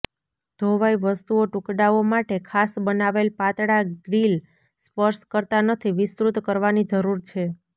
ધોવાઇ વસ્તુઓ ટુકડાઓ માટે ખાસ બનાવેલ પાતળા ગ્રિલ સ્પર્શ કરતા નથી વિસ્તૃત કરવાની જરૂર છે